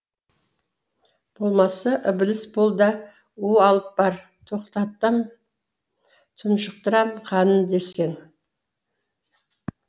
болмаса ібіліс бол да у алып бар тоқтатам тұншықтырам қанын десең